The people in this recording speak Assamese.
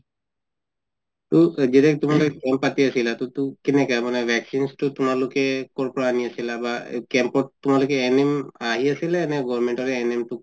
মানে কেনেকুৱা vaccines তো তোমালোকে কৰ পৰা আনি আছিলা বা camp ত তোমালোকে NM আহি আছিল নে government ৰে NM তো